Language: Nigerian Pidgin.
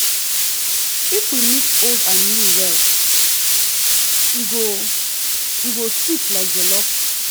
if we mix old and new well e go e go sweet like jollof.